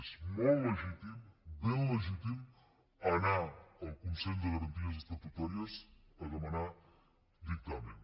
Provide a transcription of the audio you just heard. és molt legítim ben legítim anar al consell de garanties estatutàries a demanar dictamen